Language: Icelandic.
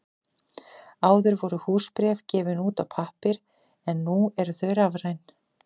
Áður voru húsbréf gefin út á pappír en nú eru þau rafræn.